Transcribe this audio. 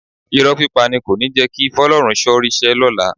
Irọ́ pípa ni kò ní jẹ́ kí Fọ́lọ́runṣọ́ ríṣẹ́ lọ́la